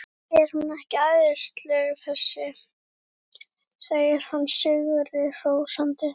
Er hún ekki æðisleg þessi? segir hann sigri hrósandi.